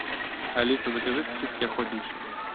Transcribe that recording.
алиса закажи сосиски охотничьи